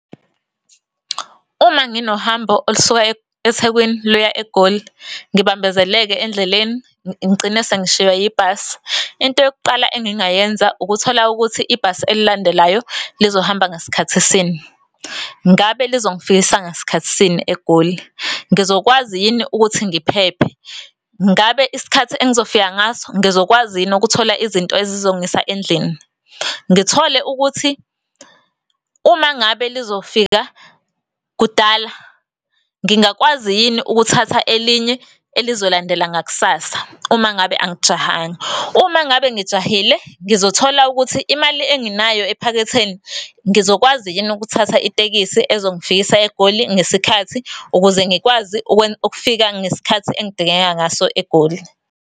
Uma nginohambo olusuka eThekwini luya eGoli ngibambezeleke endleleni ngigcine sengishiwa yibhasi into yokuqala engingayenza ukuthola ukuthi ibhasi elilandelayo lizohamba ngasikhathisini. Ngabe lizongifikisa ngasikhathisini eGoli? Ngizokwazi yini ukuthi ngiphephe? Ngabe isikhathi engizofika ngaso ngizokwazi yini ukuthola izinto ezizongisa endlini. Ngithole ukuthi uma ngabe lizofika kudala ngingakwazi yini ukuthatha elinye elizolandela ngakusasa uma ngabe angijahanga. Uma ngabe ngijahile, ngizothola ukuthi imali enginayo ephaketheni ngizokwazi yini ukuthatha itekisi ezongifikisa eGoli ngesikhathi ukuze ngikwazi ukufika ngesikhathi engidingeka ngaso eGoli.